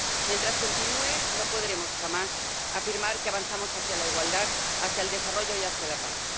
Mientras continúe, no podremos jamás afirmar que avanzamos hacia la igualdad, hacia el desarrollo y hacia la paz.